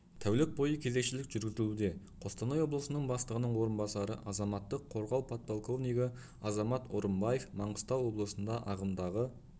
тәулік бойы кезекшілік жүргізілуде қостанай облысының бастығының орынбасары азаматтық қорғау подполковнигі азамат орымбаев маңғыстау облысында ағымдағы